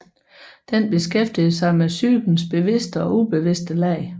Den beskæftiger sig med psykens bevidste og ubevidste lag